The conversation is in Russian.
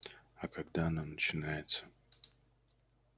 а когда оно начинается